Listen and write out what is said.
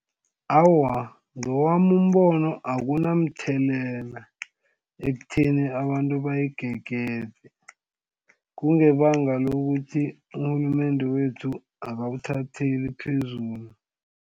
Awa, ngowami umbono akunamthelelela ekutheni abantu bayigegede kungebanga lokuthi urhulumende wethu akawuthatheli phezulu.